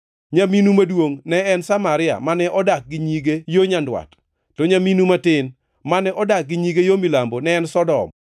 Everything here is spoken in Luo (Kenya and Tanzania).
Nyaminu maduongʼ ne en Samaria, mane odak gi nyige yo Nyandwat; to nyaminu matin, mane odak gi nyige yo milambo, ne en Sodom.